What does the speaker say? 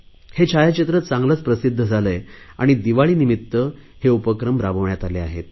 हे छायाचित्र चांगलेच प्रसिध्द झाले आहे आणि दिवाळीनिमित्त हे उपक्रम राबविण्यात आले आहे